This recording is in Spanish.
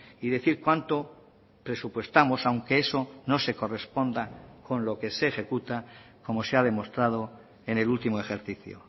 y decir cuánto presupuestamos aunque eso no se corresponda con lo que se ejecuta como se ha demostrado en el último ejercicio